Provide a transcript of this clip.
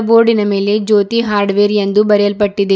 ಬೋರ್ಡಿನ ಮೇಲೆ ಜ್ಯೋತಿ ಹಾರ್ಡವೇರ್ ಎಂದು ಬರೆಯಲ್ಪಟ್ಟಿದೆ.